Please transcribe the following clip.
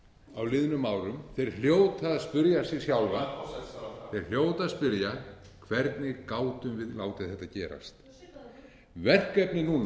á liðnum árum þeir hljóta að spyrja sig sjálfa þeir hljóta að spyrja hvernig gátum við látið þetta gerast verkefnið núna